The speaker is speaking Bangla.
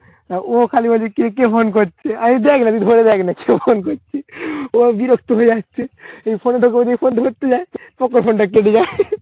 তা ও খালি বলছে কে কে ফোন করছে। আমি দেখ না তুই ধরে দেখ না কে ফোন করছে। ও বিরক্ত হয়ে যাচ্ছে। ফোনটা করি ফোন ধরতে যায় তখন ফোনটা কেটে যায়।